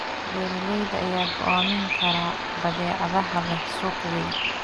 Beeralayda ayaa go'aamin kara badeecadaha leh suuq weyn.